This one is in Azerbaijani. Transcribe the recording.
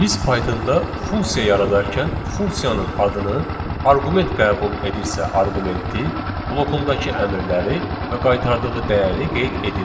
Biz Pythonda funksiya yaradarkən funksiyanın adını, arqument qəbul edirsə arqumenti, blokundakı əmrləri və qaytardığı dəyəri qeyd edirdik.